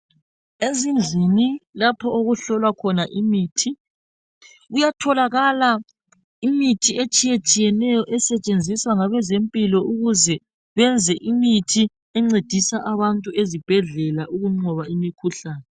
Ezindlini lapho okuhlolwa khona imithi, kuyatholakala imithi etshiyetshiyeneyo, esetshenziswa ngabezempilo ukuze benze imithi encedisa abantu ezibhedlela ukuqoba imikhuhlane,